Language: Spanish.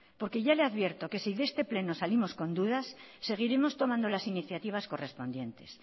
porque ya le advierto que si de este pleno salimos con dudas seguiremos tomando las iniciativas correspondientes